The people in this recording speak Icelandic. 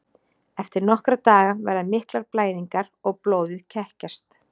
Eftir nokkra daga verða miklar blæðingar og blóðið kekkjast.